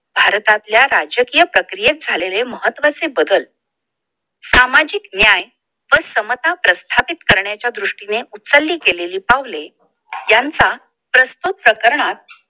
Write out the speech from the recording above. भारतातल्या राजकीय प्रक्रियेत झालेले महत्वाचे बदल, सामाजिक न्याय व समता प्रस्थावित करण्याच्या दृष्टी नी उचलली गेलेली पावले यांचा प्रस्तुत प्रकरणात